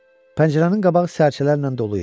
Pəncərənin qabağı sərcələrlə dolu idi.